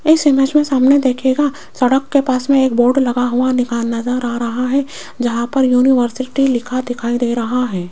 इस इमेज में सामने देखिएगा सड़क के पास में एक बोर्ड लगा हुआ नजर आ रहा है जहां पर यूनिवर्सिटी लिखा दिखाई दे रहा है।